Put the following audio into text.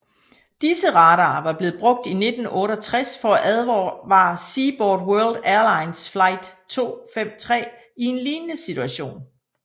Disse radarer var blevet brugt i 1968 for at advare Seaboard World Airlines Flight 253 i en lignende situation